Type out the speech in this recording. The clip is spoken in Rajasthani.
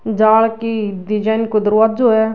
जाल की डिज़ाइन को दरवाज्जो है।